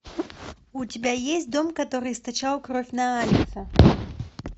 у тебя есть дом который источал кровь на алекса